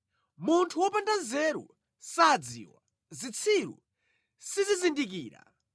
Munthu wopanda nzeru sadziwa, zitsiru sizizindikira,